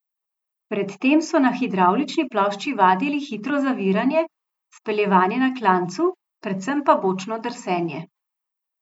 Pred tem so na hidravlični plošči vadili hitro zaviranje, speljevanje na klancu, predvsem pa bočno drsenje.